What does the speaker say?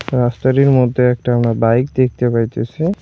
রাস্তাটির মধ্যে একটা আমরা বাইক দেখতে পাইতেসি।